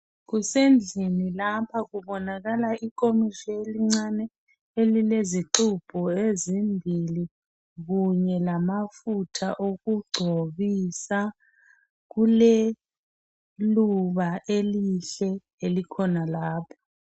Kusendlini lapha kubonakala ikomitsho elincane elilezixubho ezimbili kunye lamafutha okugcobisa, kuleluba elihle elikhona lapha